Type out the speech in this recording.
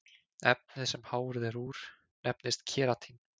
Efnið sem hárið er úr nefnist keratín.